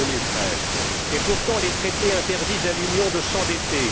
2013. Et pourtant les traités interdisent à l'Union de s'endetter.